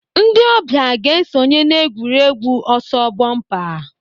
Ndị ọbịa ga-esonye n'egwuregwu ọsọ bọmpa.